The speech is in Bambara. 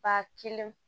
Ba kelen